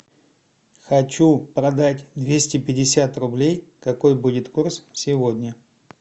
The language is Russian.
хочу продать двести пятьдесят рублей какой будет курс сегодня